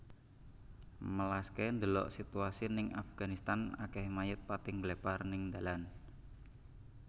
Melaske ndelok situasi ning Afganistan akeh mayit pating ngglepar ning ndalan